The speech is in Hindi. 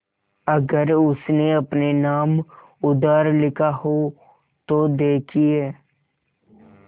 अगर उसने अपने नाम उधार लिखा हो तो देखिए